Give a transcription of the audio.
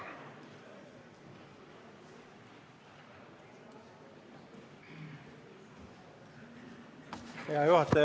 Hea juhataja!